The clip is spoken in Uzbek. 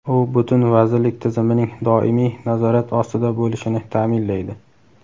u butun Vazirlik tizimining doimiy nazorat ostida bo‘lishini taʼminlaydi.